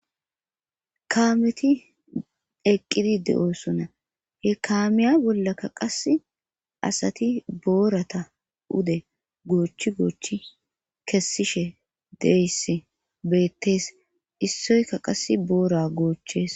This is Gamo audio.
kaameti eqqidi de7osona he kaamiya bollakka qas asati boorata ude goochi goochi kessishe deyss beettees issoyka qas boora goochchees